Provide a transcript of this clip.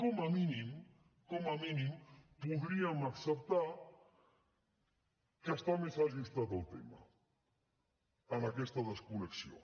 com a mínim com a mínim podríem acceptar que està més ajustat el tema en aquesta desconnexió